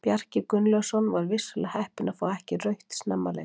Bjarki Gunnlaugsson var vissulega heppinn að fá ekki rautt snemma leiks.